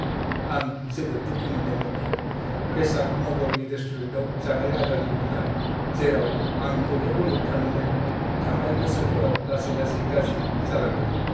आं जोबोद दुखु मोन्दोंमोन दि बेसान्त नगरनि रेस्टुरेन्टआव जानाय आदारनि गुना, जेराव आं गले-गले थाङोमोन, थांनाय बोसोरफोराव लासै-लासै गाज्रि जालांदोंमोन।